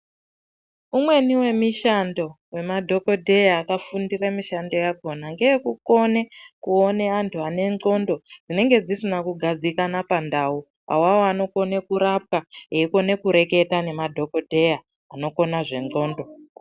Umweni wemishando we madhokoteya akafundire mushando yakona ngeye kukone kuone andu ane ndlondo dzinenge dzisina kugadzikane pa ndau awawo anokone kurapwa eikone kureketa nema dhokoteya anokona zve ndlondo.